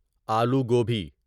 آلو گوبی